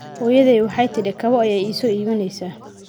Hooyaday waxay tidhi kabo ayay ii so iibineysa